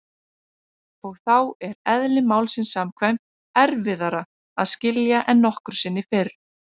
Og þá er- eðli málsins samkvæmt- erfiðara að skilja en nokkru sinni fyrr.